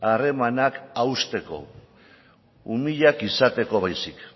harremanak hausteko umilak izateko baizik